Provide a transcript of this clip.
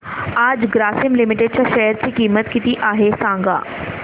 आज ग्रासीम लिमिटेड च्या शेअर ची किंमत किती आहे सांगा